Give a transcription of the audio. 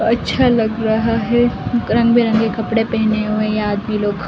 अच्छा लग रहा है रंग बिरंगे के कपड़े पहने हुए ये आदमी लोग--